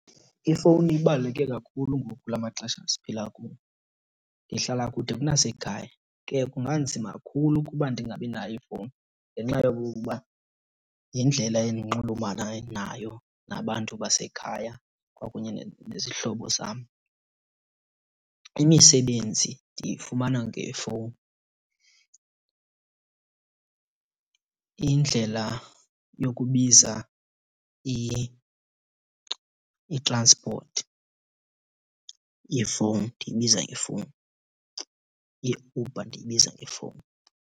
Ifowuni ibaluleke kakhulu ngoku kula maxesha siphila kuwo. Ndihlala kude kunasekhaya ke kunganzima kakhulu ukuba ndingabinayo ifowuni ngenxa yokokuba yindlela endinxulumana nayo nabantu basekhaya kwakunye nezihlobo zam. Imisebenzi ndiyifumana ngefowuni. Indlela yokubiza i-transport yifowuni ndiyibiza ngefowuni, yeUber ndiyibiza ngefowuni.